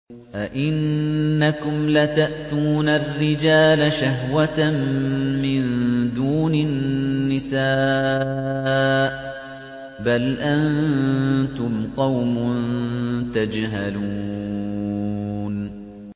أَئِنَّكُمْ لَتَأْتُونَ الرِّجَالَ شَهْوَةً مِّن دُونِ النِّسَاءِ ۚ بَلْ أَنتُمْ قَوْمٌ تَجْهَلُونَ